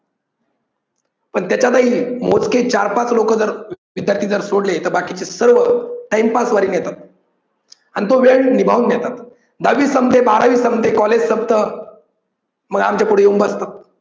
पण त्याच्यातही मोजके चार पाच लोकं जर त्याच्यातले जर सोडले तर बाकीचे सर्व time pass वाले येतात आणि तो वेळ निभाऊन घेतात. दहावी संपते, बारावी संपते, college संपतं मग आमच्या पुढे येऊन बसतात.